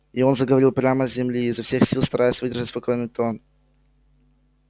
и он заговорил прямо с земли изо всех сил стараясь выдержать спокойный тон